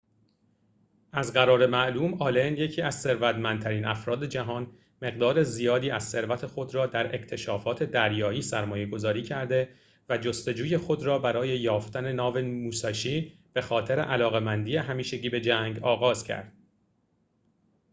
از قرار معلوم آلن یکی از ثروتمندترین افراد جهان مقدار زیادی از ثروت خود را در اکتشافات دریایی سرمایه‌گذاری کرده و جستجوی خود را برای یافتن ناو موساشی ب خاطر علاقه‌مندی همیشگی به جنگ آغاز کرد